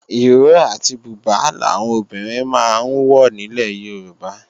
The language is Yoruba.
Ìró àti bùbá làwọn obìnrin máa ń wọ nílẹ̀ Yorùbá